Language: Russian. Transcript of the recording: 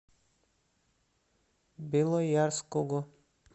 белоярского